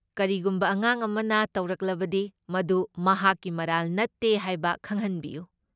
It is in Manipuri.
ꯀꯔꯤꯒꯨꯝꯕ ꯑꯉꯥꯡ ꯑꯃꯥꯗ ꯇꯧꯔꯛꯂꯕꯗꯤ, ꯃꯗꯨ ꯃꯍꯥꯛꯀꯤ ꯃꯔꯥꯜ ꯅꯠꯇꯦ ꯍꯥꯏꯕ ꯈꯪꯍꯟꯕꯤꯌꯨ꯫